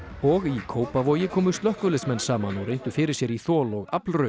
og í Kópavogi komu slökkviliðsmenn saman og reyndu fyrir sér í þol og